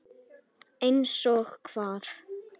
Þóra Kristín: Eins og hvað?